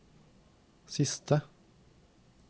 siste